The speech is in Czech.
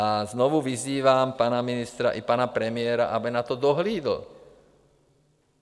A znovu vyzývám pana ministra i pana premiéra, aby na to dohlídli.